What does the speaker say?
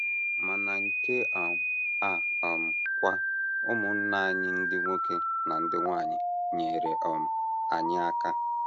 Ma na nke um a um kwa, ụmụnna anyị ndị nwoke na ndị nwanyị nyeere um anyị aka.